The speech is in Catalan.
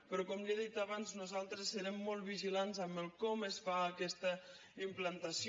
però com li he dit abans nosaltres serem molt vigilants amb com es fa aquesta implantació